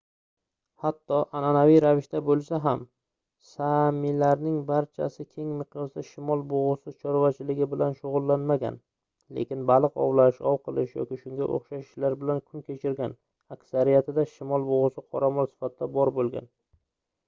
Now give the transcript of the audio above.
hatto anʼanaviy ravishda boʻlsa ham saamilarning barchasi keng miqyosda shimol bugʻusi chorvachiligi bilan shugʻullanmagan lekin baliq ovlash ov qilish yoki shunga oʻxshash ishlar bilan kun kechirgan aksariyatida shimol bugʻusi qoramol sifatida bor boʻlgan